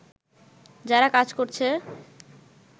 যারা কাজ করছে